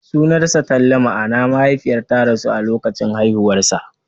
Sunansa Talle, ma'ana mahaifiyar ta rasu a lokacin haihuwarsa.